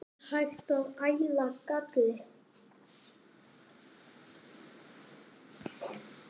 Er hægt að æla galli?